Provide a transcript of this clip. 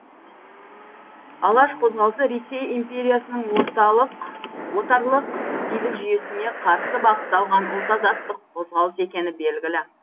алаш қозғалысы ресей империясының орталық отарлық билік жүйесіне қарсы бағытталған ұлт азаттық қозғалыс екені белгілі